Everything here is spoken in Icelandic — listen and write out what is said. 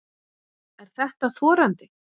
Er þetta þorandi?